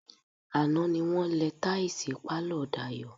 Àná ni wọ́n lẹ táìsì pálọ̀ Dayọ̀.